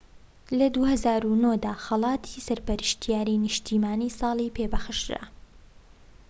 لە ٢٠٠٩ دا خەڵاتی سەرپەرشتیاری نیشتیمانیی ساڵی پێ بەخشرا